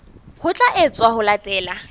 ho tla etswa ho latela